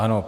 Ano.